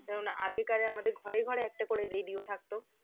যেমন আগে আমাদের ঘরে ঘরে একটা করে radio থাকতো